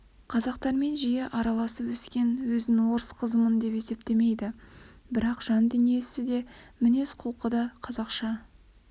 қазақтармен жиі араласып өскен өзін орыс қызымын деп есептемейді бірақ жан дүниесі де мінез-құлқы да қазақша